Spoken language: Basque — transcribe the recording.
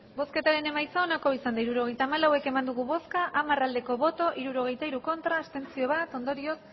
hirurogeita hamalau eman dugu bozka hamar bai hirurogeita hiru ez bat abstentzio ondorioz